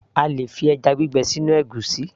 A lè fi ẹjá gbígbẹ sínú ègúsí